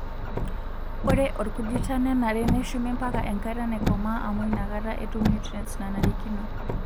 Ore orkujita nenare neshumi mpaka enkata naikomaa amu inakata etum nutriens nanarikino.